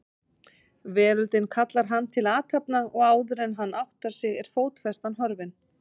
Veröldin kallar hann til athafna og áðuren hann áttar sig er fótfestan horfin.